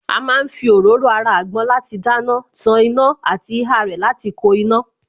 A má ń fi òróró ara àgbọn láti dáná, tan iná àti ihá rẹ̀ láti ko iná